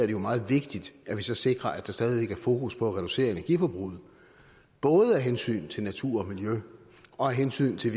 jo meget vigtigt at vi så sikrer at der stadig væk er fokus på at reducere energiforbruget både af hensyn til natur og miljø og af hensyn til